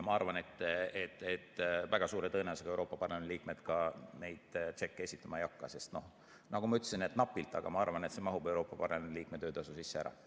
Ma arvan, et väga suure tõenäosusega Euroopa Parlamendi liikmed ka neid tšekke esitama ei hakka, sest nagu ma ütlesin, ma arvan, et napilt küll, aga see mahub Euroopa Parlamendi liikme töötasu sisse ära.